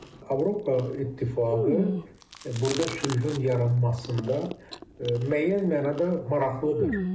Avropa İttifaqı burda sülhün yaranmasında müəyyən mənada maraqlıdır.